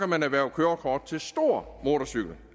man erhverve kørekort til stor motorcykel